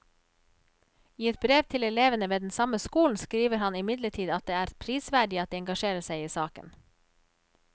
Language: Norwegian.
I et brev til elevene ved den samme skolen skriver han imidlertid at det er prisverdig at de engasjerer seg i saken.